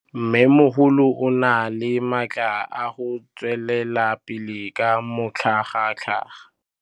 Mmêmogolo o na le matla a go tswelela pele ka matlhagatlhaga.